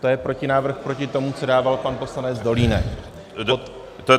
To je protinávrh proti tomu, co dával pan poslanec Dolínek.